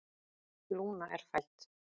Lúna er fædd.